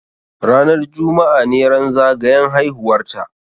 Ranar juma'a ne ran zagayan haihuwar ta